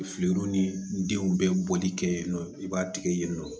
Filiw ni denw bɛɛ bɔli kɛ yen nɔ i b'a tigɛ yen nɔ